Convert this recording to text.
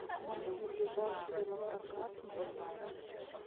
найди ближайший велопрокат в моем отеле